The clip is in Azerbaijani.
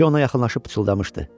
Kişi ona yaxınlaşıb pıçıldamışdı: